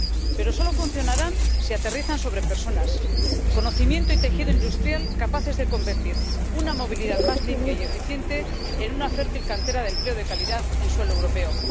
Pero solo funcionarán si aterrizan sobre personas, conocimiento y tejido industrial capaces de convertir una movilidad más limpia y eficiente en una fértil cantera de empleo de calidad en suelo europeo.